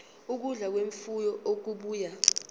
ukudla kwemfuyo okubuya